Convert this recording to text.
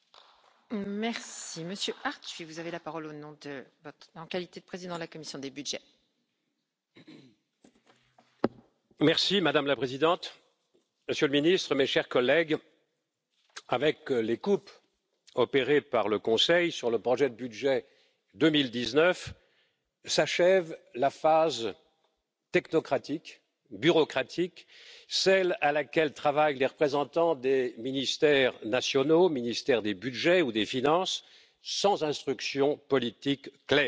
que les crédits, devenus inefficaces lorsqu'ils sont engagés à l'échelon national, doivent désormais être transférés vers le budget de l'Union européenne pour être